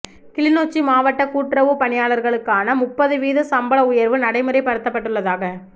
கிளிநொச்சி மாவட்ட கூட்டுறவுப் பணியாளர்களுக்கான முப்பது வீத சம்பள உயர்வு நடைமுறைப்படுத்தப்பட்டுள்ளதாக